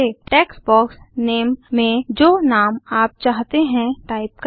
text box name में जो नाम आप चाहते हैं टाइप करें